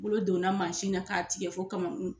Bolo donna mansin na k'a tigɛ fo kamakun.